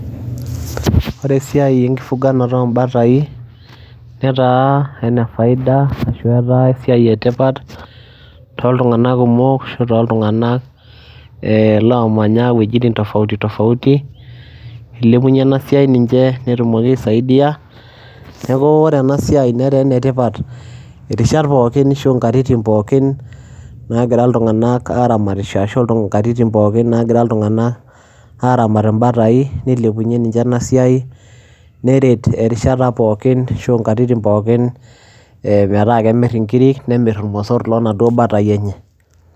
ore esiai enkifuganata oobatai, netaa ene faida ashu etaa esia etipat tooltunganak kumok, ashu aa tooltunganak lomanya iwuejitin tofauti tofauti. eilepunye ena siai ninche, netumoki aisaidia, neku ore ena siai netaa ene tipat, irisat pookin ashu nkatitin pookin, naagira iltungank aaramatisho. ashu aa nkatitin pookin naagira iltungank aaramat ibatai, nilepunye ninche ena siai, neret erishata pookin ashu aa nkatitin, pookin metaa kemir nkiri nemir irmosor loo naduoo batai enye.